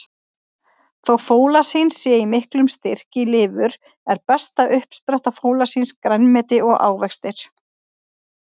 Þó fólasín sé í miklum styrk í lifur, er besta uppspretta fólasíns grænmeti og ávextir.